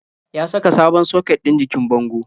Ya saka sabon soket ɗin jikin bango.